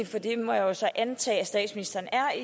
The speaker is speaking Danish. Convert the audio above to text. for det må jeg jo så antage at statsministeren er